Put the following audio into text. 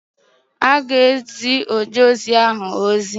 Ọ ga-ezi ojeozi ahụ ozi.